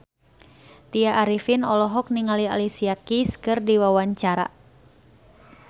Tya Arifin olohok ningali Alicia Keys keur diwawancara